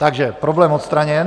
Takže problém odstraněn.